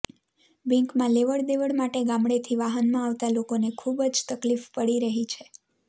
બેન્કમાં લેવડ દેવડ માટે ગામડેથી વાહનમાં આવતાં લોકોને ખૂબ જ તકલીફ પડી રહી છે